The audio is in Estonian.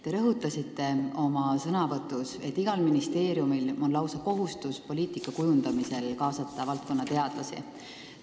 Te rõhutasite oma ülevaates, et igal ministeeriumil on lausa kohustus kaasata poliitika kujundamisel oma valdkonna teadlasi.